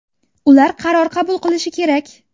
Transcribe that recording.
Ular qaror qabul qilishi kerak.